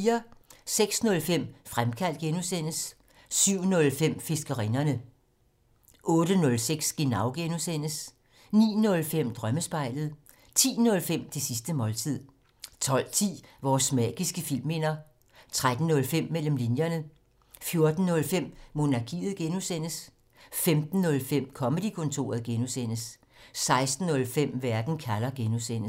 06:05: Fremkaldt (G) 07:05: Fiskerinderne 08:05: Genau (G) 09:05: Drømmespejlet 10:05: Det sidste måltid 12:10: Vores magiske filmminder 13:05: Mellem linjerne 14:05: Monarkiet (G) 15:05: Comedy-kontoret (G) 16:05: Verden kalder (G)